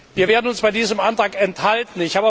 Wir werden uns bei diesem Antrag enthalten.